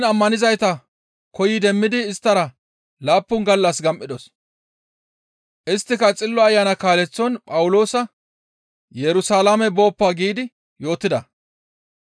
Heen ammanizayta koyi demmidi isttara laappun gallas gam7idos; isttika Xillo Ayana kaaleththon Phawuloosa, «Yerusalaame booppa» giidi yootida.